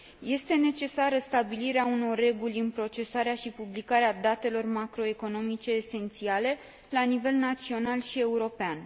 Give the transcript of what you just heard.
Este necesară stabilirea unor reguli în procesarea și publicarea datelor macroeconomice esențiale la nivel național și european.